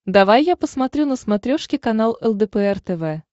давай я посмотрю на смотрешке канал лдпр тв